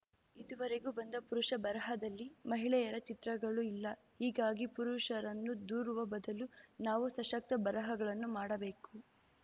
ಇದುವರೆಗೂ ಬಂದ ಪುರುಷ ಬರಹದಲ್ಲಿ ಮಹಿಳೆಯರ ಚಿತ್ರಗಳು ಇಲ್ಲ ಹೀಗಾಗಿ ಪುರುಷರನ್ನು ದೂರುವ ಬದಲು ನಾವು ಸಶಕ್ತ ಬರಹಗಳನ್ನು ಮಾಡಬೇಕು